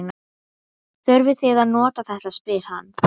Þurfið þið að nota þetta? spyr hann.